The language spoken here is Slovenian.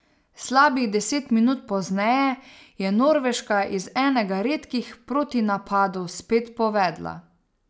Slabih deset minut pozneje je Norveška iz enega redkih protinapadov spet povedla.